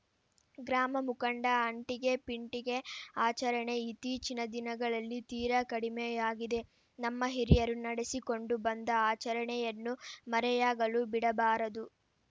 ಗ್ರಾಮ ಮುಖಂಡ ಅಂಟಿಗೆ ಪಿಂಟಿಗೆ ಆಚರಣೆ ಇತ್ತೀಚಿನ ದಿನಗಳಲ್ಲಿ ತೀರಾ ಕಡಿಮೆಯಾಗಿದೆ ನಮ್ಮ ಹಿರಿಯರು ನಡೆಸಿಕೊಂಡು ಬಂದ ಆಚರಣೆಯನ್ನು ಮರೆಯಾಗಲು ಬಿಡಬಾರದು